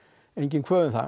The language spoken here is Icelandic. enginn kvöð um það